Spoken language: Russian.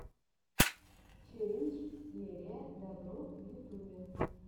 челлендж лерия добро в ютюбе